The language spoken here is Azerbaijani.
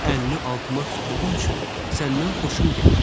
Əlini altıma tutduğun üçün səndən xoşum gəldi.